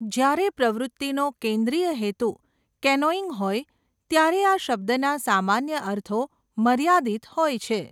જ્યારે પ્રવૃતિનો કેન્દ્રીય હેતુ કેનોઇંગ હોય ત્યારે આ શબ્દના સામાન્ય અર્થો મર્યાદિત હોય છે.